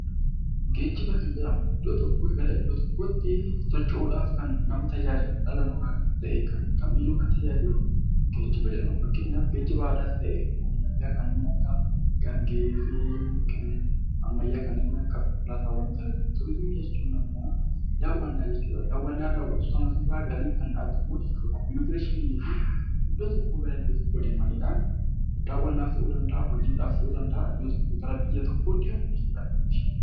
Geejjiba kan jedhamu iddoo tokkoo gara iddoo tokkootti socho'uu dhaaf kan nama tajaajilu, dhala namaa kan ta'ee kam iyyuu kan tajaajilu 'Geejjiba'jedhama. Fakkeenyaaf geejjiba aadaas ta'e kan ammayyaa ksnneen akka gaangee fi kan ammayyaa kanneen akka konkolaataawwan. Turiizimiin jechuun ammoo daawwannaa jechuu dha. Daawwanna daawwatamu sana irraa galiin kan argamu jechuu dha. Immigireeshinii jechuun iddoo tokkoo gara iddoo tokkoo deemuu dhaan daawwannaaf ta'uu danda'aa, hojiidhaaf ta'uu danda'aa gara biyya tokkoo deemuu jechuu dha.